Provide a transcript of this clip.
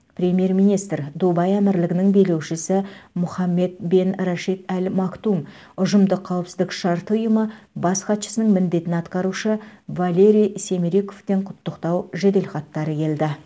премьер министр дубай әмірлігінің билеушісі мұхаммед бен рашид әл мактум ұжымдық қауіпсіздік шарты ұйымы бас хатшысының міндетін атқарушы валерий семериковтен құттықтау жеделхаттары келді